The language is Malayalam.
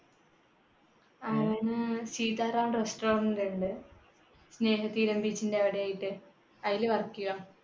അവന് അഹ് seetharam restaurant ഉണ്ട് സ്നേഹതീരം beach ന്റെ അവിടെ ആയിട്ട്, അതില് work ചെയ്യുവാ